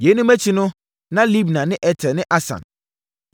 Yeinom akyi no na Libna ne Eter ne Asan,